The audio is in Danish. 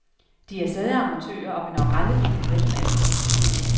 De er stadig amatører og vil nok aldrig blive professionelle.